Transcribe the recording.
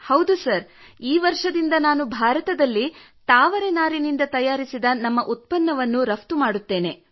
ಹೌದು ಸರ್ ಈ ವರ್ಷದಿಂದ ನಾನು ಭಾರತದಲ್ಲಿ ತಾವರೆ ನಾರಿನಿಂದ ತಯಾರಿಸಿದ ನಮ್ಮ ಉತ್ಪನ್ನವನ್ನು ರಫ್ತು ಮಾಡುತ್ತೇನೆ